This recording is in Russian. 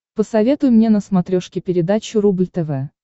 посоветуй мне на смотрешке передачу рубль тв